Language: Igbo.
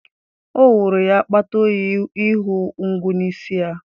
Ọ wụrụ ya akpata oyi ịhụ ngwu n'isi ya